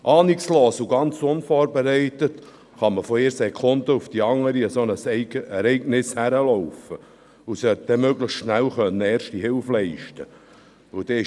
Ahnungslos und ganz unvorbereitet kann man von einer Sekunde auf die andere mit einem solchen Ereignis konfrontiert sein und sollte dann möglichst schnell Erste Hilfe Leisen können.